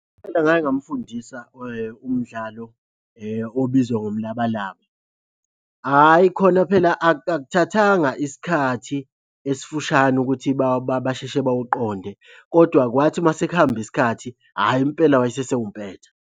Impela ngake ngamfundisa umdlalo obizwa ngomlabalaba. Hhayi khona phela akuthathanga isikhathi esifushane ukuthi basheshe bawuqonde, kodwa kwathi uma sekuhamba isikhathi, hhayi impela wase esewumpetha.